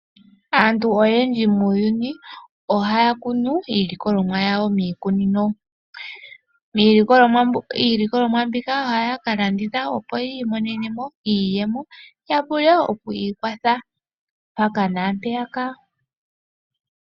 Aantu oyendji muuyuni ohaya kunu iilikolomwa yawo miikunino. Iilikolomwa mbika ohaya ka landitha opo yi imonene mo iiyemo ya vule oku ikwatha mpaka naampeyaka.